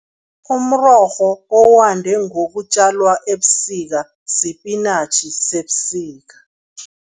Umrorho owande ngokutjalwa ebusika, sipinatjhi sebusika.